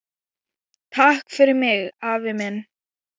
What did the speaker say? Takk fyrir mig, afi minn.